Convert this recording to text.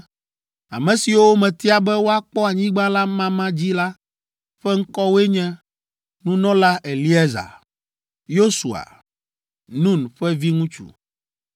“Ame siwo metia be woakpɔ anyigba la mama dzi la ƒe ŋkɔwoe nye: nunɔla Eleazar, Yosua, Nun ƒe viŋutsu,